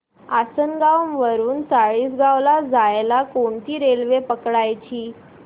आसनगाव वरून चाळीसगाव ला जायला कोणती रेल्वे पकडायची